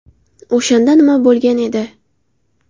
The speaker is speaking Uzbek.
O‘shanda nima bo‘lgan edi?.